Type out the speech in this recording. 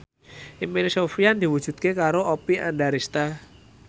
impine Sofyan diwujudke karo Oppie Andaresta